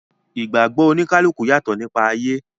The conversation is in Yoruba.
Ìgbàgbọ̀ oníkálùkù yàtọ̀ nípa ayé.